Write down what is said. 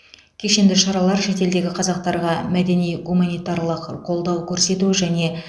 кешенді шаралар шетелдегі қазақтарға мәдени гуманитарлық қолдау көрсету және